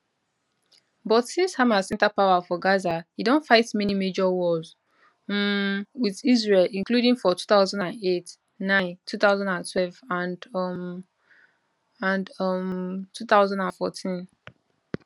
but since hamas enta power for gaza e don fight many major wars um wit israel including for 200809 2012 and um and um 2014